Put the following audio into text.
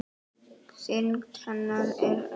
Þyngd hennar er um